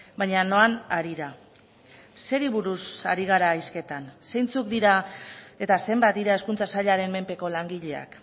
baina noan harira zeri buruz ari gara hizketan zeintzuk dira eta zenbat dira hezkuntza sailaren menpeko langileak